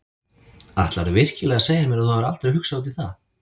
Ætlarðu virkilega að segja mér að þú hafir aldrei hugsað út í það?